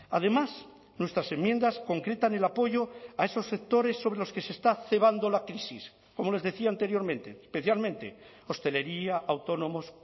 además nuestras enmiendas concretan el apoyo a esos sectores sobre los que se está cebando la crisis como les decía anteriormente especialmente hostelería autónomos